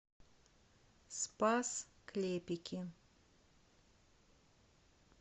спас клепики